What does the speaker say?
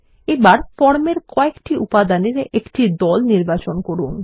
এবার ফর্ম এর কয়েকটি উপাদানের দল নির্বাচন করুন